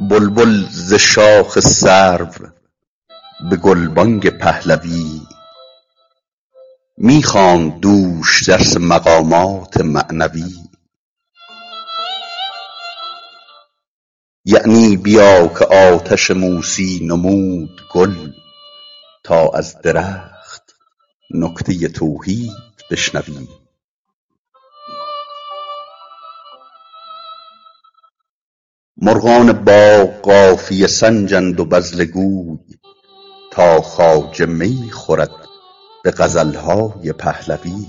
بلبل ز شاخ سرو به گلبانگ پهلوی می خواند دوش درس مقامات معنوی یعنی بیا که آتش موسی نمود گل تا از درخت نکته توحید بشنوی مرغان باغ قافیه سنجند و بذله گوی تا خواجه می خورد به غزل های پهلوی